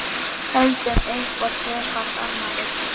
Höldum upp á tvöfalt afmæli.